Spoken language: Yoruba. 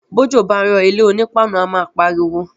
Bójò bá ń rò ilé oní páànù a má pariwo.